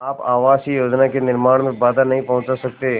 आप आवासीय योजना के निर्माण में बाधा नहीं पहुँचा सकते